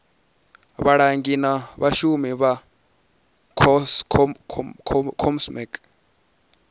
vhalangi na vhashumi vha comsec